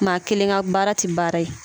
Maa kelen ka baara tɛ baara ye